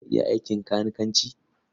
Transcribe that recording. Za ka iya aikin kanikanci?